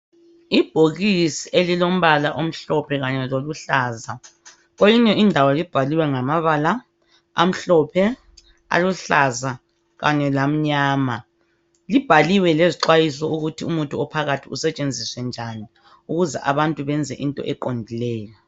Ibhokisi elilombala omhlophe kanye loluhlaza .Kweyinye indawo libhaliwe ngamabala , amhlophe, aluhlaza kanye lamnyama. Libhaliwe lezixhwayiso ukuthi umuthi ophakathi usetshenziswe njani ukuze abantu benze into eqondileyo.